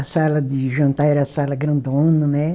A sala de jantar era a sala grandona, né?